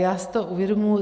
Já si to uvědomuji.